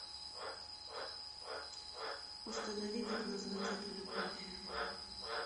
установи как назвать эту любовь